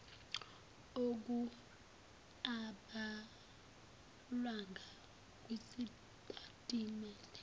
okung abhalwanga kwisitatimende